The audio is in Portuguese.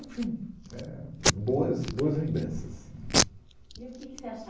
Enfim, é. Boas, boas lembranças. E o que que você achava